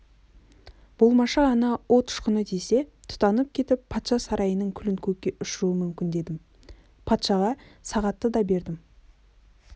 болмашы ғана от ұшқыны тисе тұтанып кетіп патша сарайының күлін көкке ұшыруы мүмкін дедім патшаға сағатты да бердім